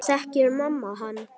Þekkir mamma hann?